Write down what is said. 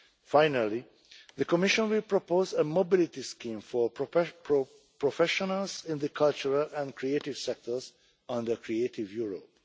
Finally, the Commission will propose a mobility scheme for professionals in the cultural and creative sectors under Creative Europe.